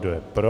Kdo je pro?